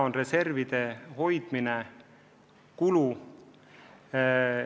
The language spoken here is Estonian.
Reservide hoidmine on kulu.